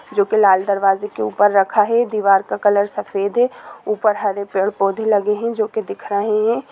जो की लाल दरवाजे की उपर रखा है दीवार का कलर सफेद है ऊपर हरे पेड़-पौधे लगे हैं जो कि दिख रहे है ।